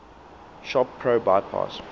shop pro bypass